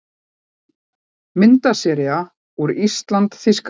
Myndasería úr ÍSLAND- Þýskaland